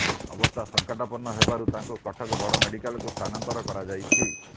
ଅବସ୍ଥା ସଙ୍କଟାପନ୍ନ ହେବାରୁ ତାଙ୍କୁ କଟକ ବଡ଼ମେଡିକାଲକୁ ସ୍ଥାନାନ୍ତର କରାଯାଇଛି